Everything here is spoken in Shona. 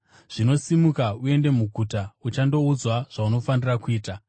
Zvino simuka uende muguta, uchandoudzwa zvaunofanira kuita.”